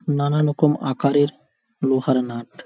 নানা রকম আকারের লোহার নাট